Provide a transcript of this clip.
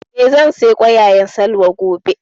Eh, zan saya ƙwayaƙwan Salwa gobe